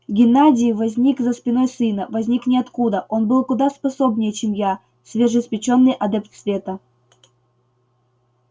геннадий возник за спиной сына возник ниоткуда он был куда способнее чем я свежеиспечённый адепт света